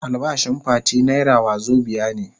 Albashin Fati naira wazobia ne.